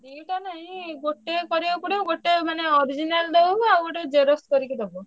ଦିଟା ନାଇଁ ଗୋଟିଏ କରିଆକୁ ପଡିବ ଗୋଟିଏ ମାନେ original ଦଉ ଆଉ ଗୋଟେ xerox କରିକି ଦବା।